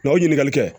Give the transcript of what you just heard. o ɲininkali kɛ